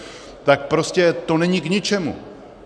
Tak prostě to není k ničemu.